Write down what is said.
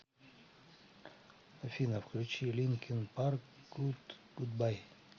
афина включи линкин парк гуд гудбай